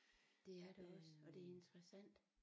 Det er det også og det er interessant